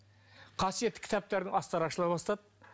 қасиетті кітаптардың астары ашыла бастады